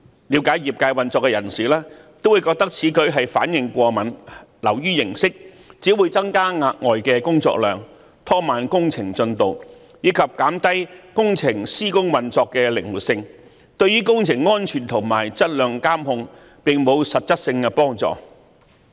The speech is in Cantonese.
了解業界運作的人士均覺得此舉是反應過敏，流於形式，只會增加額外的工作量，拖慢工程進度，以及減低工程施工運作的靈活性，對於工程安全和質量監控並沒有實質幫助。